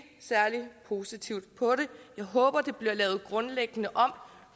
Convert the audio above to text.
særlig positivt på det jeg håber det bliver lavet grundlæggende om